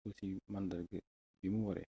ko ci màndarga bi mu waree